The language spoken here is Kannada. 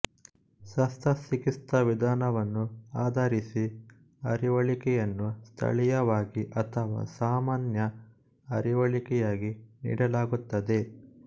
ಶಸ್ತ್ರಚಿಕಿತ್ಸಾ ವಿಧಾನವನ್ನು ಆಧರಿಸಿ ಅರಿವಳಿಕೆಯನ್ನು ಸ್ಥಳೀಯವಾಗಿ ಅಥವಾ ಸಾಮಾನ್ಯ ಅರಿವಳಿಕೆಯಾಗಿ ನೀಡಲಾಗುತ್ತದೆ